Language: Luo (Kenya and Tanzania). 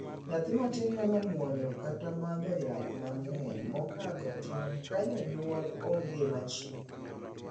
Nyathi matin nyalo muonyo kata madho yath mang'eny mokadho tong' ka janyuol onge machiegni.